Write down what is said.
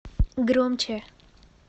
громче